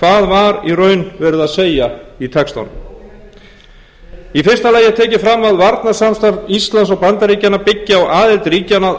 hvað var í raun verið að segja í textanum í fyrsta lagi er tekið fram að varnarsamstarf íslands og bandaríkjanna byggi á aðild ríkjanna að